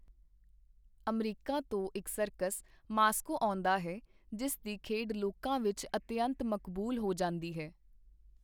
America ਤੋਂ ਇਕ circus Moscow ਆਉਂਦਾ ਹੈ, ਜਿਸ ਦੀ ਖੇਡ ਲੋਕਾਂ ਵਿਚ ਅਤਿਅੰਤ ਮਕਬੂਲ ਹੋ ਜਾਂਦੀ ਹੈ.